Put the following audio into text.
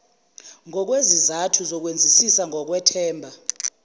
ngokwezizathu zokwenzisisa ngokwethemba